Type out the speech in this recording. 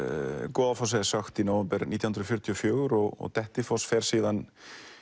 Goðafossi er sökkt í nóvember nítján hundruð fjörutíu og fjögur og Dettifoss fer síðan